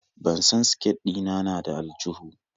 Ban san siket ɗina na da aljuhu.